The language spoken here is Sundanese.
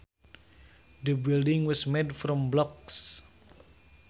The building was made from blocks